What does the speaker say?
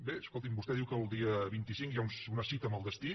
bé escolti’m vostè diu que el dia vint cinc hi ha una cita amb el destí